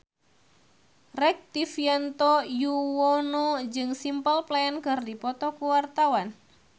Rektivianto Yoewono jeung Simple Plan keur dipoto ku wartawan